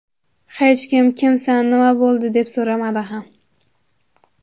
Hech kim kimsan, nima bo‘ldi deb so‘ramadi ham.